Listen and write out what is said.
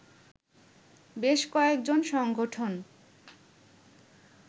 বেশ কয়েকজন সংগঠন